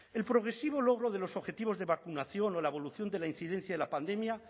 el progresivo logro de los objetivos de vacunación o la evolución de la incidencia de la pandemia